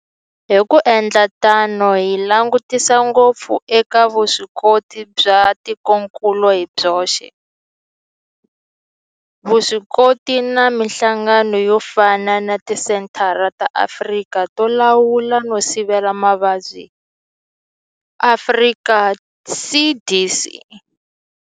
Hi ku endla tano hi langutisa ngopfu eka vuswikoti bya tikokulu hi byoxe, vuswikoti na mihlangano yo fana na Tisenthara ta Afrika to Lawula no Sivela Mavabyi, Afrika CDC.